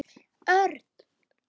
Örn!